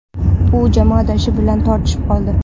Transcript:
U jamoadoshi bilan tortishib qoldi .